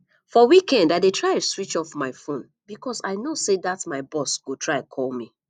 for weekend i dey switch off my phone because i know say dat my boss go try call me